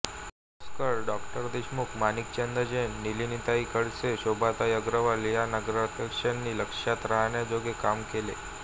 पळसोकर डॉ देशमुख माणिकचंद जैन नलिनीताई खडसे शोभाताई अग्रवाल या नगराध्यक्षांनी लक्षात राहण्याजोगे काम केले